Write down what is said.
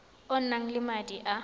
o nang le madi a